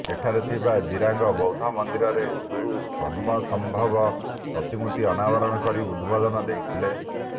ଏଠାରେ ଥିବା ଜିରାଙ୍ଗ ବୌଦ୍ଧ ମନ୍ଦିରରେ ଗୁରୁ ପଦ୍ମସମ୍ଭବଙ୍କ ପ୍ରତିମୂର୍ତ୍ତି ଅନାବରଣ କରି ଉଦବୋଧନ ଦେଇଥିଲେ